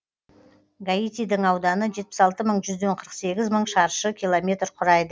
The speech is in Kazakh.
гаитидің ауданы жетпіс алты бүтін жүзден қырық сегіз мың шаршы километр құрайды